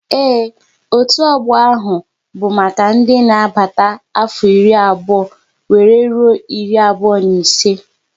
Ee, otu ọgbọ ahụ bụ maka ndị dị n'agbata afọ iri abụọ wéré rụọ iri abụọ na ise